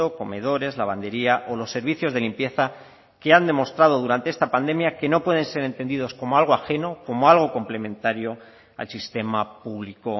comedores lavandería o los servicios de limpieza que han demostrado durante esta pandemia que no pueden ser entendidos como algo ajeno como algo complementario al sistema público